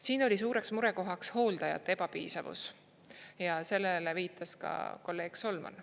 Siin oli suureks murekohaks hooldajate ebapiisavus ja sellele viitas ka kolleeg Solman.